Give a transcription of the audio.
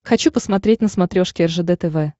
хочу посмотреть на смотрешке ржд тв